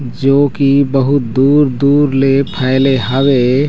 जो की बहुत दूर-दूर ले फैले हवे।